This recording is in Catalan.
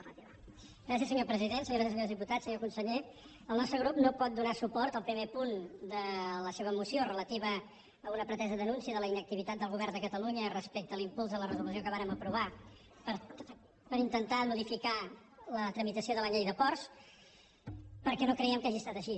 senyores i senyors diputats senyor conseller el nostre grup no pot donar suport al primer punt de la seva moció relativa a una pretesa denúncia de la inactivitat del govern de catalunya respecte a l’impuls de la resolució que vàrem aprovar per intentar modificar la tramitació de la llei de ports perquè no creiem que hagi estat així